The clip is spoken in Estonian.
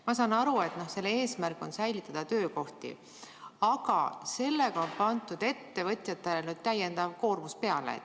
Ma saan aru, et eesmärk on säilitada töökohti, aga sellega on pandud ettevõtjatele täiendav koormus.